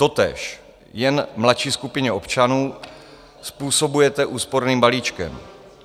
Totéž, jen mladší skupině občanů, způsobujete úsporným balíčkem.